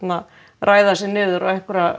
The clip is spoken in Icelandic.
ræða sig niður á einhverja